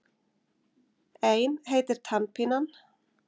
Ein heitir Tannpínan.